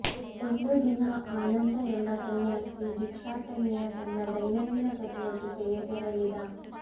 ಒಂದು ದಿನ ಆನಂದ ಎಂಬ ಸನ್ಯಾಸಿ ಭಿಕ್ಷಾಟನೆಯ ತನ್ನ ದೈನಂದಿನ ಚಟುವಟಿಕೆಗೆ ತೆರಳಿದ